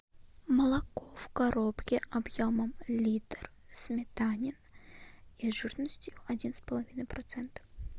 молоко в коробке объемом литр сметанин и жирностью один с половиной процента